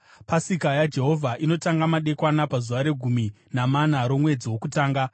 Pasika yaJehovha inotanga madekwana pazuva regumi namana romwedzi wokutanga.